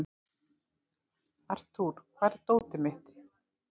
Arthur, hvar er dótið mitt?